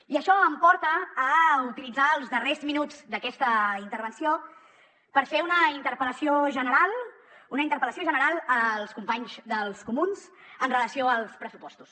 i això em porta a utilitzar els darrers minuts d’aquesta intervenció per fer una interpel·lació general una interpel·lació general als companys dels comuns amb relació als pressupostos